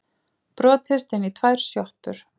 Brotist inn í tvær sjoppur